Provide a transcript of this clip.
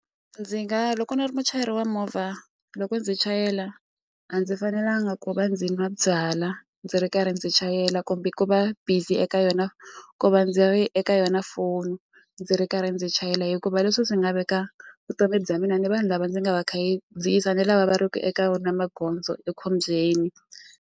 Ndzi nga loko ni ri muchayeri wa movha loko ndzi chayela a ndzi fanelanga ku va ndzi nwa byalwa ndzi ri karhi ndzi chayela kumbe ku va busy eka yona ku va ndzi ri eka yona foni ndzi ri karhi ndzi chayela hikuva leswi swi nga veka vutomi bya mina ni vanhu lava ndzi nga va ni lava va ri ku eka wona magondzo ekhombyeni.